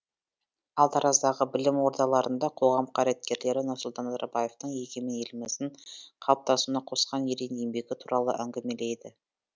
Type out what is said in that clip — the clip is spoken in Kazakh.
ал тараздағы білім ордаларында қоғам қайраткерлері нұрсұлтан назарбаевтың егемен еліміздің қалыптасуына қосқан ерен еңбегі туралы әңгімеледі